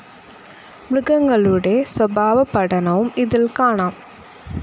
മൃഗങ്ങളൂടെ സ്വഭാവ പഠനവും ഇതിൽ കാണാം.